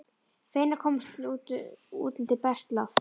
Feginn að komast út undir bert loft.